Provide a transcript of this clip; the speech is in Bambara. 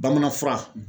Bamanan fura